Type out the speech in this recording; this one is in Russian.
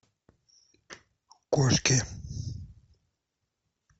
кошки